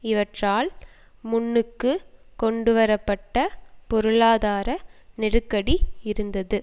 இவற்றால் முன்னுக்குக் கொண்டு வரப்பட்ட பொருளாதார நெருக்கடி இருந்தது